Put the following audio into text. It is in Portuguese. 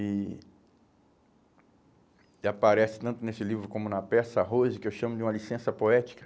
E e aparece tanto nesse livro como na peça Rose, que eu chamo de uma licença poética.